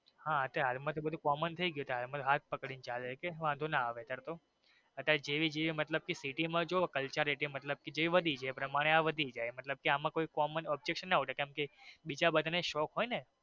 હા હા એટલે હવે હાલ માં તો બધું common થઈ ગયું normal હાથ પકડી ને ચાલે કે કઈ વાંધો નો આવે અત્યરે જેવી જેવી મતલબ કે city માં કેવું કલચારીત્ય મતલબ કે વધી એ પ્રમાણે આ વધી જઈ મતલબ કે એમાં કોઈ common objection નો ઉઠે.